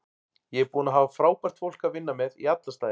Ég er búinn að hafa frábært fólk að vinna með í alla staði.